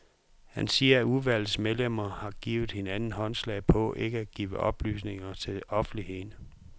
Han siger, at udvalgets medlemmer har givet hinanden håndslag på ikke at give oplysninger til offentligheden.